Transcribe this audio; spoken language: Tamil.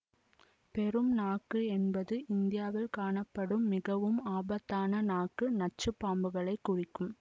பெரும் நாக்கு என்பது இந்தியாவில் காணப்படும் மிகவும் ஆபத்தான நாக்கு நச்சுப்பாம்புகளைக் குறிக்கும்